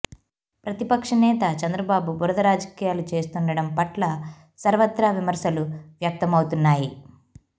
ప్రతిపక్ష నేత చంద్రబాబు బురద రాజకీయాలు చేస్తుండటం పట్ల సర్వత్రా విమర్శలు వ్యక్తమవుతున్నాయి